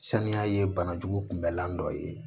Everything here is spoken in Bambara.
Saniya ye bana jugu kunbɛlan dɔ ye